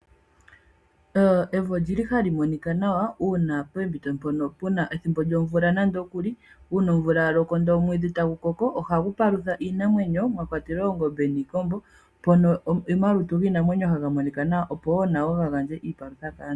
Evi olili ha li monika nawa unene pethimbo lyomvula . Uuna omvula yaloko ndele omwiidhi ta gu koko oha gu palutha iinamwenyo mwakwatelwa oongombe niikombo .Omalutu giinamwenyo ha ga monika nawa opo woo nayo yi gandje iipalutha kaantu.